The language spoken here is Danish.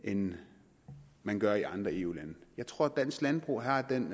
end man gør i andre eu lande jeg tror at dansk landbrug har den